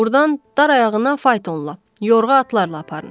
Burdan dar ayağına faytonla, yorğa atlarla aparın.